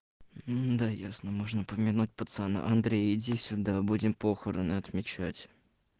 да ясно можно помянуть пацана андрей иди сюда будем похороны отмечать